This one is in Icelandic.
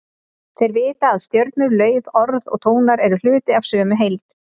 Þeir vita að stjörnur, lauf, orð og tónar eru hluti af sömu heild.